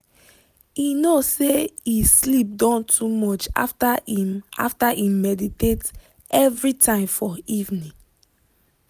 he know say e sleep don too much after him after him meditate every time for evening.